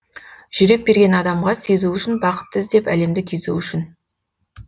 жүрек берген адамға сезу үшін бақытты іздеп әлемді кезу үшін